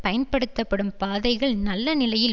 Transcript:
பயன்படுத்தப்படும் பாதைகள் நல்ல நிலையில்